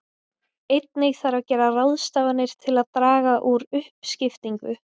Einnig þarf að gera ráðstafanir til að draga úr uppskiptingu.